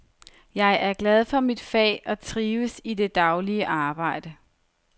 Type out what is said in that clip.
Jeg er glad for mit fag og trives i det daglige arbejde.